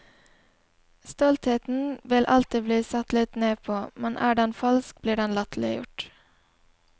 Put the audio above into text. Stoltheten vil alltid bli sett litt ned på, men er den falsk blir den latterliggjort.